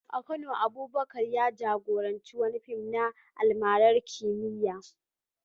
A Kano, Abubakar ya jagoranci wani fim na almarar kimiyya